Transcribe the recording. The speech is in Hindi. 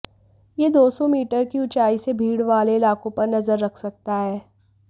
यह दो सौ मीटर की ऊंचाई से भीड़ वाले इलाकों पर नजर रख सकता है